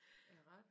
Er det rigtigt?